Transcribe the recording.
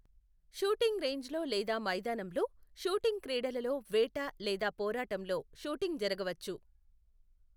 Shooting రేంజ్లో లేదా మైదానంలో, షూటింగ్ క్రీడలలో వేట లేదా పోరాటంలో షూటింగ్ జరగవచ్చు.